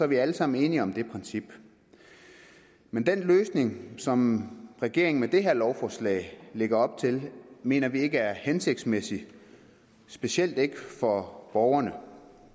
vi alle sammen enige om det princip men den løsning som regeringen med det her lovforslag lægger op til mener vi ikke er hensigtsmæssig specielt ikke for borgerne